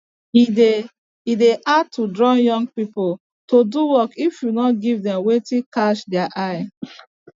e dey e dey hard to draw young pipo to do work if you nor give dem wetin catch deir eye